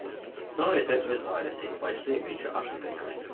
Sonra isə öz ailəsi, bacısı ilə birlikdə Afrikaya köçdü.